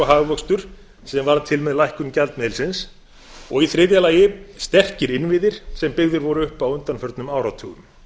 hagvöxtur sem varð til með lækkun gjaldmiðilsins og í þriðja lagi sterkir innviðir sem byggðir voru upp á undanförnum áratugum